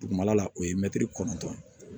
Dugumala la o ye mɛtiri kɔnɔtɔn ye